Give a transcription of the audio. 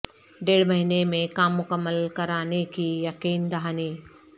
ڈیڑھ مہینے میں کام مکمل کرانے کی یقین دہانی